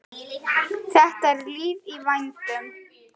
Það er líf í vændum.